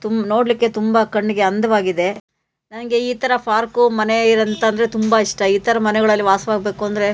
ತುಂಬ ನೋಡಲಿಕ್ಕೆ ಕಣ್ಣಿಗೆ ತುಂಬಾ ಅಂದವಾಗಿದೆ ನನಗೆ ಈ ತರ ಪಾರ್ಕ್ ಮನೆ ಅಂತಂದ್ರೆ ತುಂಬಾ ಇಷ್ಟ ಈ ತರ ಮನೆಗಳಲ್ಲಿ ವಾಸವಾಗಬೇಕು ಅಂದ್ರೆ.